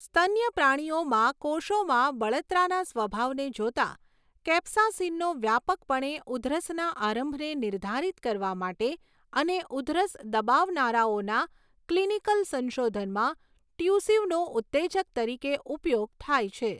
સ્તન્ય પ્રાણીઓમાં કોષોમાં બળતરાના સ્વભાવને જોતાં, કેપ્સાસીનનો વ્યાપકપણે ઉધરસના આરંભને નિર્ધારિત કરવા માટે અને ઉધરસ દબાવનારાઓના ક્લિનિકલ સંશોધનમાં ટ્યુસિવનો ઉત્તેજક તરીકે ઉપયોગ થાય છે.